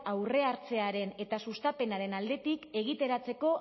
aurrea hartzearen eta sustapenaren aldetik egituratzeko